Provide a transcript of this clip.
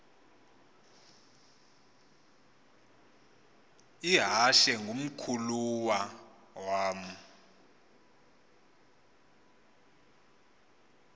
ihashe ngumkhulawa uam